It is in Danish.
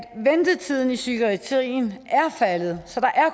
ventetiden i psykiatrien er faldet så